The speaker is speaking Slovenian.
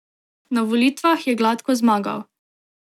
Na volitvah je gladko zmagal.